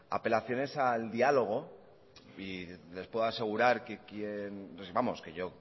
apelaciones al diálogo y les puedo asegurar que quien vamos que yo